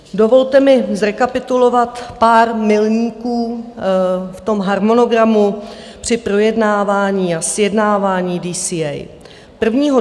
Dovolte mi zrekapitulovat pár milníků v tom harmonogramu při projednávání a sjednávání DCA: